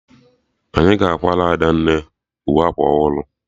Anyị ga-akwara Adanna uwe akwụkwọ ọhụrụ